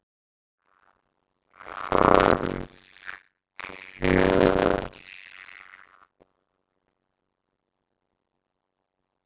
Hörð kjör